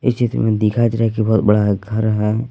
इस चित्र में दिखाई दे रहा है कि बहुत बड़ा घर है।